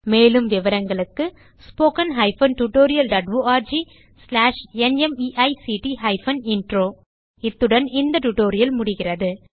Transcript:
மேலும் விவரங்களுக்கு 1 இத்துடன் இந்த டியூட்டோரியல் முடிகிறது